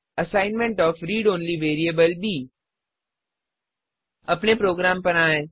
assignment of read only variable b अपने program पर आएँ